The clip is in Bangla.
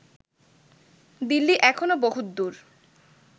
দিল্লী এখনো বহুৎদুর